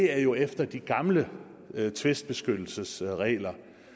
er jo efter de gamle tvistbeskyttelsesregler